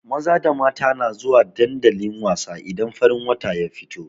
Maza da mata na zuwa dandali wasa idan farin wata ya fito.